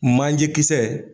Man ɲɛ kisɛ.